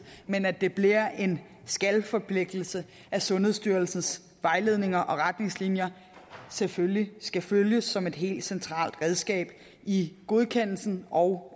men at det bliver en skal forpligtelse at sundhedsstyrelsens vejledninger og retningslinjer selvfølgelig skal følges som et helt centralt redskab i godkendelsen og